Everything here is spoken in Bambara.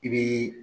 I bɛ